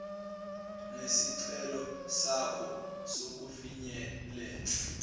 nesicelo sakho sokufinyelela